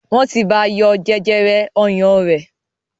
Wọn tí bá yọ jẹjẹrẹ ọyàn rẹ̀